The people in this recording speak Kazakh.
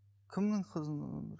кімнің қызының өмірі